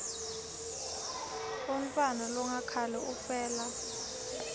umntfwana longakhali ufela